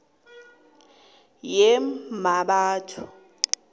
yemmabatho